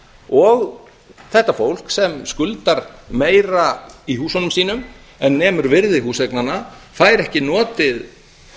og þetta fólk sem skuldar meira í húsunum sínum en nemur virði húseignanna fær ekki notið